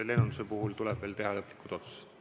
Lennunduse puhul tuleb veel teha lõplikud otsused.